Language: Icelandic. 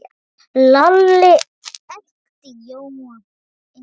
Lalli elti Jóa inn.